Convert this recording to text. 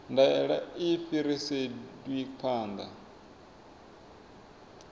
ndaela a i fhiriselwi phanḓa